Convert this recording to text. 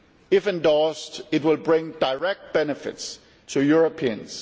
If endorsed, it will bring direct benefits to Europeans.